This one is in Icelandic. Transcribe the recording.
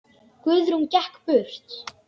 Guðrún gekk burt.